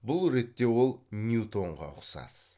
бұл ретте ол ньютонға ұқсас